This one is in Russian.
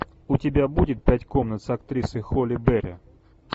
у тебя будет пять комнат с актрисой холли берри